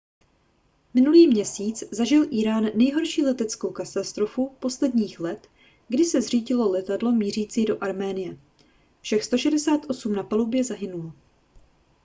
minulý měsíc zažil írán nejhorší leteckou katastrofu posledních let kdy se zřítilo letadlo mířící do arménie všech 168 osob na palubě zahynulo